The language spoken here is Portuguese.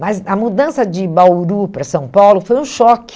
Mas a mudança de Bauru para São Paulo foi um choque.